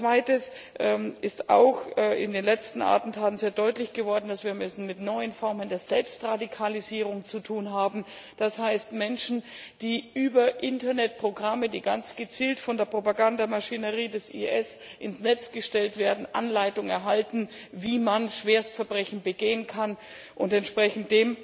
Zweitens ist auch in den letzten Attentaten sehr deutlich geworden, dass wir es mit neuen Formen der Selbstradikalisierung zu tun haben, das heißt, mit Menschen, die über Internetprogramme, die ganz gezielt von der Propagandamaschinerie des IS ins Netz gestellt werden, Anleitung erhalten, wie man Schwerstverbrechen begehen kann, und dementsprechend